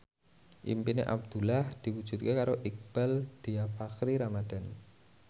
impine Abdullah diwujudke karo Iqbaal Dhiafakhri Ramadhan